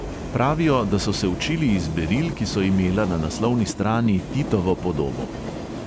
Pravijo, da so se učili iz beril, ki so imela na naslovni strani titovo podobo.